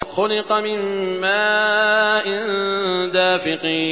خُلِقَ مِن مَّاءٍ دَافِقٍ